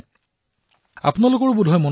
আপোনালোকৰো বোধহয় মনত আছে